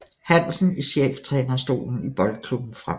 Hansen i cheftrænerstolen i Boldklubben Frem